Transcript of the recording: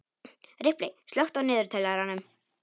Ripley, slökktu á niðurteljaranum.